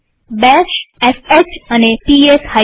બેશsh અને P S f